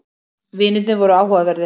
Vinirnir voru áhugaverðir.